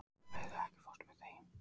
Úlfheiður, ekki fórstu með þeim?